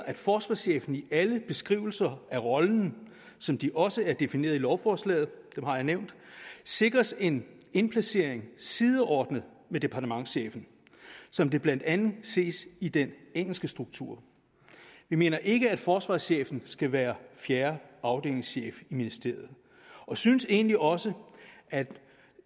at forsvarschefen i alle beskrivelser af rollen som de også er defineret i lovforslaget dem har jeg nævnt sikres en indplacering sideordnet med departementschefen som det blandt andet ses i den engelske struktur vi mener ikke at forsvarschefen skal være fjerde afdelingschef i ministeriet og synes egentlig også at